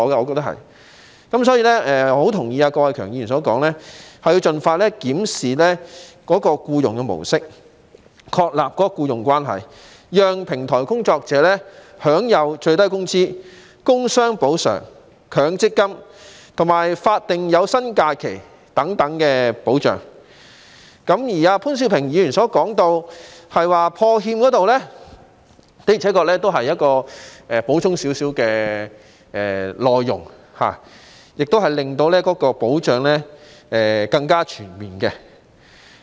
所以，我十分同意郭偉强議員所說，應盡快檢視僱傭的模式，確立僱傭關係，讓平台工作者享有最低工資、工傷補償、強制性公積金和法定有薪假期等保障；而潘兆平議員提到破產欠薪保障基金方面，的確是稍稍補充了議案的內容，亦令保障更全面。